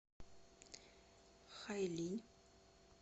хайлинь